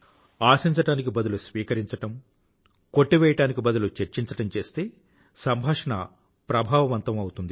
ఆశించడానికి బదులు స్వీకరించడం కొట్టివేయడానికి బదులు చర్చించడం చేస్తే సంభాషణ ప్రభావవంతం అవుతుంది